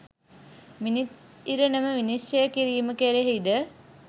මිනිස් ඉරණම විනිශ්චය කිරීම කෙරෙහි ද